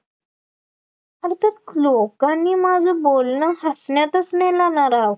आणितर लोकांनी माझं बोलणं हसण्यातच नेलं ना राव,